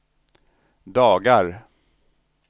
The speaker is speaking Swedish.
dagar